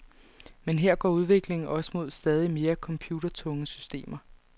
Men her går udviklingen også mod stadig mere computertunge systemer.